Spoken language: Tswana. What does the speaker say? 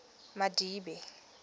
madibe